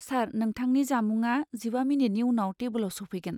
सार, नोंथांनि जामुंआ जिबा मिनिटनि उनाव टेबोलाव सौफैगोन।